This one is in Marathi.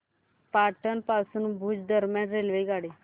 पाटण पासून भुज दरम्यान रेल्वेगाडी